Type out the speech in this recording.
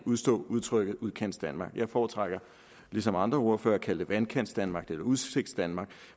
udstå udtrykket udkantsdanmark jeg foretrækker ligesom andre ordførere at kalde det vandkantsdanmark eller udsigtsdanmark